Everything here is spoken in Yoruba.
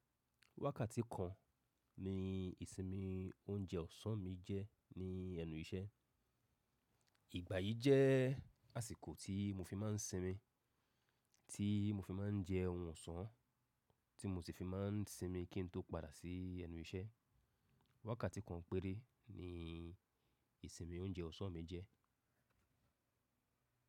Wákàtí kan ni ìsinmi oúnjẹ ọ̀sán mi jẹ́ ní ẹnu iṣẹ́. Ìgbà yìí jẹ́ àsìkò tí mo fi máa ń sinmi, tí mo fi máa ń jẹ oun ọ̀sán tí mo ti fi máa ń sinmi kí n tó padà sí ẹnu iṣẹ́. Wákàtí kan péré ni ìsinmi oúnjẹ ọ̀sán mi jẹ́.